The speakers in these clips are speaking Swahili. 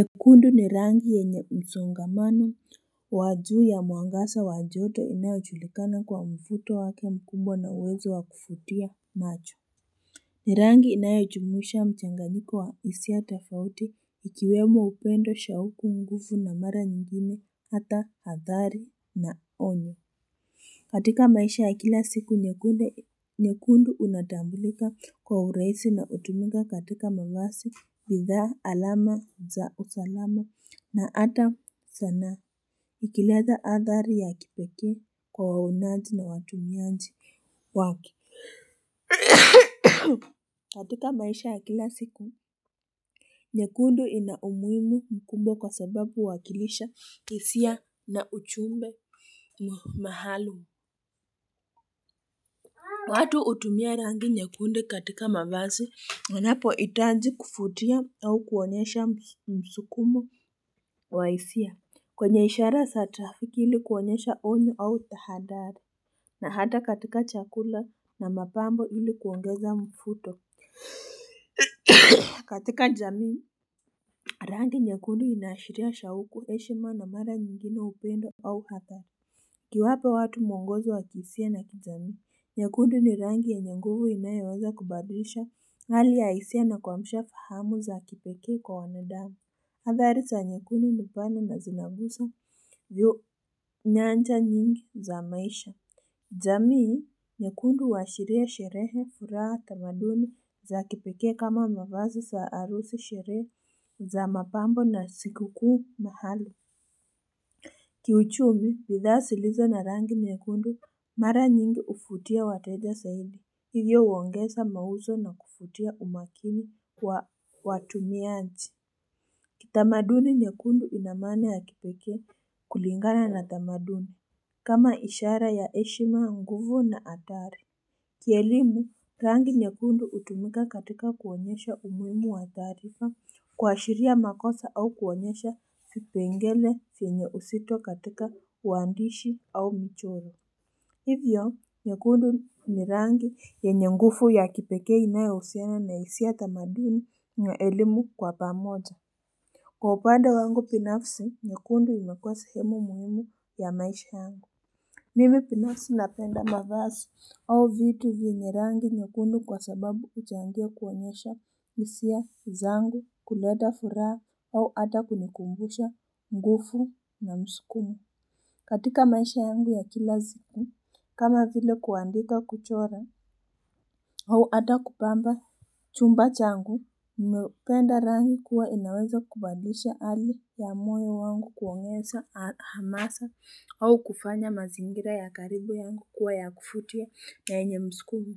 Nyekundu ni rangi yenye msongamano wa juu ya muangazaa wa choto inayojulikana kwa mvuto wake mkumbwa na uwezo wakuvutia macho. Ni rangi inayajumusha mchanganyiko wa isia tofauti ikiwemo upendo shauku nguvu na mara nyingine ata hatari na onyo. Katika maisha ya kila siku, nyekundu unatambulika kwa urahisi na utumika katika mavasi, bidhaa alama za usalama na ata sana ukileeza hatari ya kipikee kwa waonaji na watumiaji wake katika maisha ya kila siku, nyekundu ina umuhimu mkubwa kwa sababu wakilisha isia na ujumbe mahalum. Watu utumia rangi nyekundu katika mavazi na napo itaji kufutia au kuonesha msukumo wa isia. Kwenye ishara za trafiki ili kuonesha onyo au dhahatari na ata katika chakula na mapambo ili kuongeza mfuto katika jamii. Rangi nyekundu inaashiria shauku heshima na mara nyingine upendo au ata. Kuwapa watu mwongozo wakifia na kijamii. Nyekundu ni rangi yenye nguvu inayeweza kubadisha hali ya isia na kwa mshafahamu za kipeke kwa wanadamu. Hatari za nyekundu nipana na zinagusa vyo nyanja nyingi za maisha. Jamii, nyekundu uashiria sherehe furaha tamaduni za kipeke kama mavazi za harusi sherehe za mapambo na sikuku mahali. Kiuchumi, bidhaa silizo na rangi nyekundu mara nyingi ufutia wateja saidi Hivyo uongesa mauzo na kufutia umakini kwa watumianji. Kitamaduni nyekundu inamaana ya kipekee kulingana na tamaduni. Kama ishara ya heshima nguvu na hatari. Kielimu, rangi nyekundu utumika katika kuonyesha umuimu wa taarifa kuashiria makosa au kuonyesha vipengele yenye uzito katika uandishi au michoro. Hivyo, nyekundu ni rangi yenye nguvu ya kipekee inayo husiana na isia tamaduni yenye elimu kwa pamoja. Kwa upande wangu binafsi, nyekundu imekua sehemu muhimu ya maisha yangu. Mimi binafsi napenda mavasi au vitu vinye rangi nyekundu kwa sababu uchangia kuonyesha isia zangu kuleta furaha au ata kunikumbusha nguvu na msikumo. Katika maisha yangu ya kila siku, kama vile kuandika kuchora, au ata kupamba chumba changu, nimependa rangi kuwa inaweza kubadisha hali ya moyo wangu kuongeza hamasa, au kufanya mazingira ya karibu yangu kuwa ya kufutia na yenye muskumo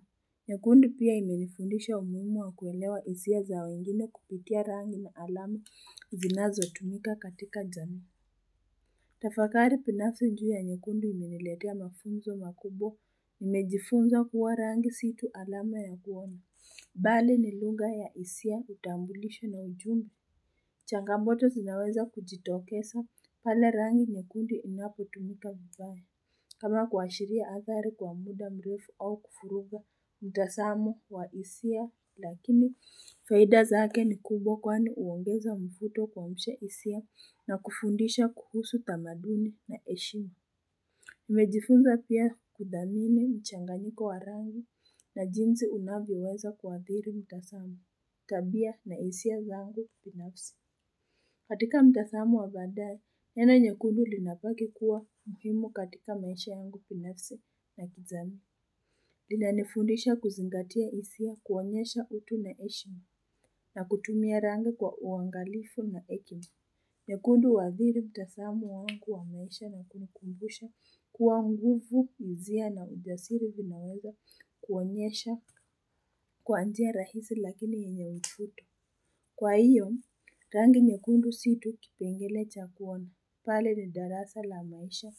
nyekundu pia imenifundisha umuhimu wa kuelewa isia za wengine kupitia rangi na alama zinazo tumika katika jamii. Tafakari binafujia nyekundi ni niletia mafunzo makubwa. Nimejifunza kuwa rangi si tu alama ya kuona Bali ni lungha ya isia utambulisho na uchumi Changamoto sinaweza kujitokesa pale rangi nyekundu inapo tumika vibaya. Kama kuashiria hatari kwa muda mrefu au kufuruwa mtasamu wa isia lakini faida zake ni kubwa kwani uongeza mfuto kwa msha isia na kufundisha kuhusu tamaduni na heshima. Nimejifunza pia kudhamini mchanganyiko wa rangi na jinsi unavyeweza kuadhiri mtazamo, tabia na isia zangu binafsi. Katika mtazamo wa badae, neno nyekundu linapaki kuwa muhimu katika maisha yangu kibinafsi na kizani. Lina nifundisha kuzingatia isia kuonyesha utu na heshima na kutumia rangi kwa uangalifu na hekima nyekundu waadhiri mtazamo wangu wa maisha na kunikumbusha kuwa nguvu izia na ujasiri vinaweza kuonyesha kwa njia rahisi lakini yenye uvuto. Kwa hiyo, rangi nyekundu si tu kipengele cha kuona pale ni darasa la maisha,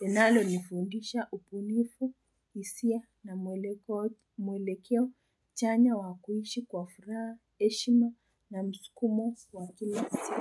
linalo nifundisha ubunifu, isia na mwelekeo, chanya wakuishi kwa furaha, heshima na msukumo wakinasi.